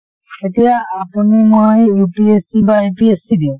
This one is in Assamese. এতিয়া আপুনি মই UPSC বা APSC দিও